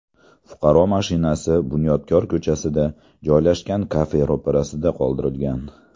Fuqaro mashinasini Bunyodkor ko‘chasida joylashgan kafe ro‘parasida qoldirgan.